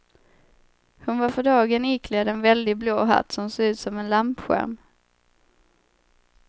Hon var för dagen iklädd en väldig blå hatt som såg ut som en lampskärm.